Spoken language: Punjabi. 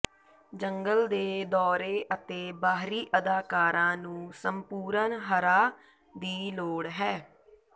ਜੰਗਲ ਦੇ ਦੌਰੇ ਅਤੇ ਬਾਹਰੀ ਅਦਾਕਾਰਾਂ ਨੂੰ ਸੰਪੂਰਨ ਹਰਾ ਦੀ ਲੋੜ ਹੈ